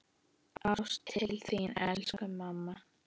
Ást til þín, elsku mamma.